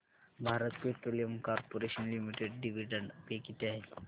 Bharat petroleum corporation limited dividend pay किती आहे